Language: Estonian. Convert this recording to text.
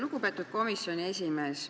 Lugupeetud komisjoni esimees!